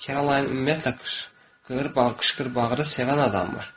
Kerolayn ümumiyyətlə qışqır-bağır, qışqır-bağır sevən adammış.